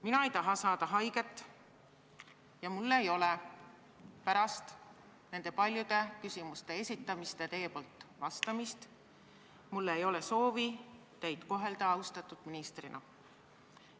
" Mina ei taha saada haiget ja mul ei ole pärast neid paljusid küsimusi ja neile teie poolt vastamist soovi teid kohelda austatud ministrina.